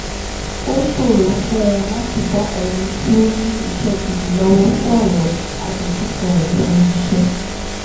ó ṣòro fún un láti bá ẹnì tí ó ní iṣẹ́ gidi lọ́wọ́ sọ̀rọ̀ àdojúkọ rẹ̀ lẹ́nu iṣé